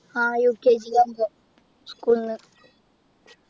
ആഹ് UKG ആവുമ്പൊ school ന്നു